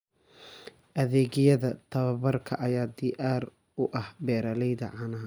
Adeegyada tababarka ayaa diyaar u ah beeralayda caanaha.